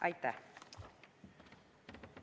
Aitäh!